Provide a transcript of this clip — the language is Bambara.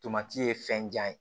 Tomati ye fɛnjan ye